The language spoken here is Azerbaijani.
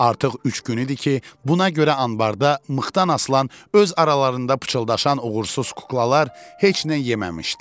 Artıq üç gün idi ki, buna görə anbarda mıxdan asılan, öz aralarında pıçıldaşan uğursuz kuklalar heç nə yeməmişdilər.